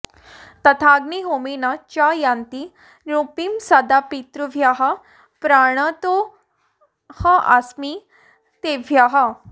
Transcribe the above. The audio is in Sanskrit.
तथाग्निहोमेन च यान्ति तृप्तिं सदा पितृभ्यः प्रणतोऽस्मि तेभ्यः